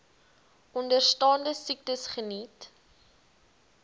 onderstaande siektes geniet